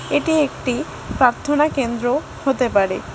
এটি একটি প্রার্থনা কেন্দ্র হতে পারে।